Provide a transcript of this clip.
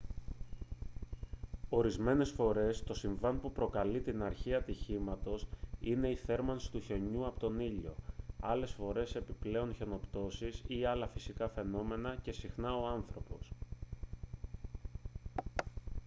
ορισμένες φορές το συμβάν που προκαλεί την αρχή ατυχήματος είναι η θέρμανση του χιονιού από τον ήλιο άλλες φορές επιπλέον χιονοπτώσεις ή άλλα φυσικά φαινόμενα και συχνά ο άνθρωπος